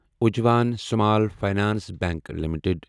Ujjivan small finance bank limited